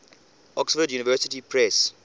oxford university press